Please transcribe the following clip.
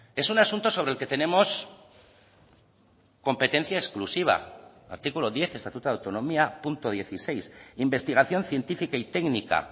es un asunto sobre el que tenemos competencia exclusiva artículo diez estatuto de autonomía punto dieciséis investigación científica y técnica